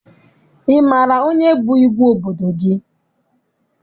Ị maara onye bụ igwe obodo gị?